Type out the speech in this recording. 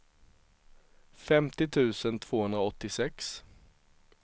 femtio tusen tvåhundraåttiosex